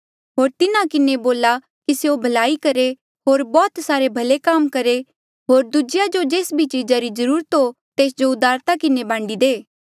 होर तिन्हा किन्हें बोला कि स्यों भलाई करहे होर बौह्त सारे भले काम करहे होर दूजेया जो जेस भी चीजा री जरूरत हो तेस जो उदारता किन्हें बांडी दे